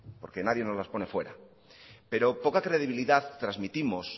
porque nadie nos las pone fuera pero poca credibilidad transmitimos